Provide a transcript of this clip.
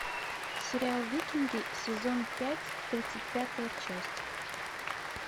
сериал викинги сезон пять тридцать пятая часть